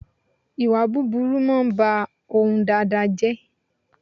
Ìwà búburú máa ń bá ohun dáadáa jẹ́